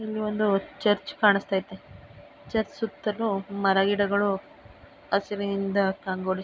ಇಲ್ಲಿ ಒಂದು ಚರ್ಚ್ ಕಾಣಿಸತೈತೆ. ಚರ್ಚ್ ಸುತ್ತಲೂ ಮರ ಗಿಡಗಳು ಹಸಿರಿನಿಂದ ಕಂಗೊಳಿಸು--